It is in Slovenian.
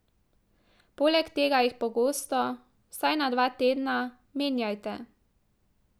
Poleg tega jih pogosto, vsaj na dva tedna, menjajte.